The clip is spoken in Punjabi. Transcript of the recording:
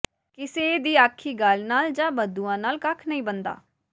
ਕਿਸੇ ਦੀ ਆਖੀ ਗੱਲ ਨਾਲ ਜਾਂ ਬਦਦੁਆ ਨਾਲ ਕੱਖ ਨਹੀਂ ਬਣਦਾ